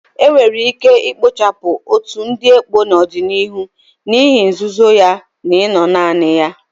Enwere ike ikpochapụ otu ndị ekpo n'ọdịniihu n'ihi nzuzo ya na ino naanị ya.